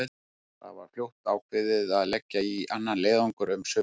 Það var fljótt ákveðið að leggja í annan leiðangur um sumarið.